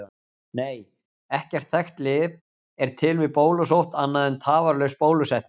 Nei, ekkert þekkt lyf er til við bólusótt annað en tafarlaus bólusetning.